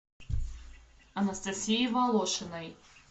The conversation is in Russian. анастасии волошиной